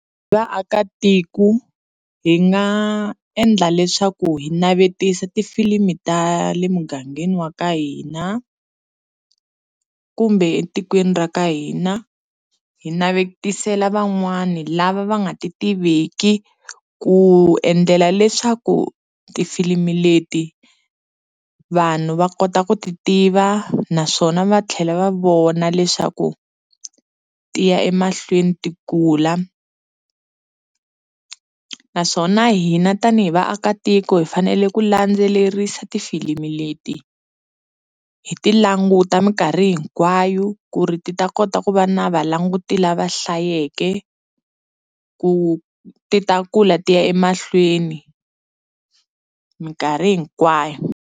Hi vaakatiko hi nga endla leswaku hi navetisa tifilimi ta le mugangeni wa ka hina kumbe etikweni ra ka hina hi navetisela van'wani lava va nga ti tiveki ku endlela leswaku tifilimi leti vanhu va kota ku ti tiva naswona va tlhela va vona leswaku tiya emahlweni ti kula naswona hina tanihi vaakatiko hi fanele ku landzelerisa tifilimi leti hi ti languta minkarhi hinkwayo ku ri ti ta kota ku va na va languti la va hlayeke ku ti ta kula tiya emahlweni minkarhi hinkwayo.